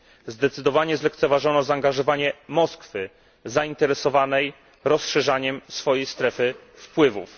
Zdecydowanie zlekceważono zaangażowanie Moskwy, zainteresowanej rozszerzaniem swojej strefy wpływów.